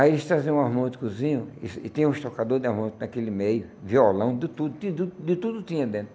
Aí eles traziam um armônticozinho, e tinha um estocador de armôntico naquele meio, violão, de tudo, de tudo de tudo tinha dentro.